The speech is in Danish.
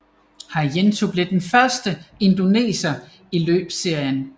Haryanto blev den første indoneser i løbsserien